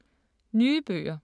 Nye bøger